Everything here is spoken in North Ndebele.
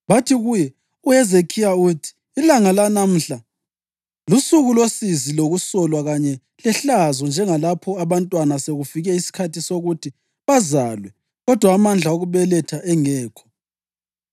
Bathi kuye, “UHezekhiya uthi: ilanga lanamhla lusuku losizi lokusolwa kanye lehlazo njengalapho abantwana sekufike isikhathi sokuthi bazalwe kodwa amandla okubeletha engekho.